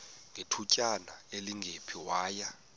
ngethutyana elingephi waya